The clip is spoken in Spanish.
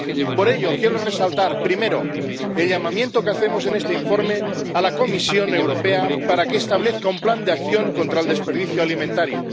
Por ello, quiero resaltar, primero, el llamamiento que hacemos en este informe a la Comisión Europea para que establezca un plan de acción contra el desperdicio alimentario